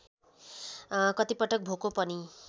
कतिपटक भोको पनि